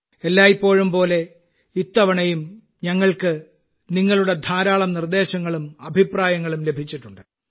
എല്ലായ്പ്പോഴും പോലെ ഇത്തവണയും ഞങ്ങൾക്ക് നിങ്ങളുടെ ധാരാളം നിർദ്ദേശങ്ങളും അഭിപ്രായങ്ങളും ലഭിച്ചിട്ടുണ്ട്